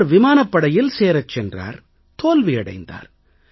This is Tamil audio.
அவர் விமானப் படையில் சேரச் சென்றார் தோல்வியடைந்தார்